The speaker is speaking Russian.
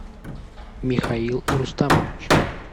михаил рустамович